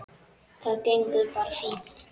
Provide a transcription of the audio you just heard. Þetta gengur bara fínt.